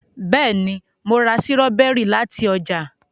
béèni mọ rà Sírọ́bẹ́rì láti oja